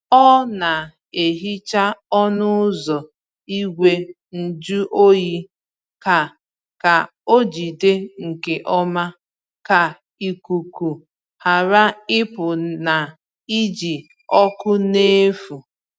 Ọ na-ehicha ọnụ ụzọ igwe njụ oyi ka ka ọ jide nke ọma, ka ikuku ghara ịpụ na iji ọkụ n’efu.